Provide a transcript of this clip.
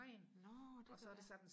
nå det kan godt være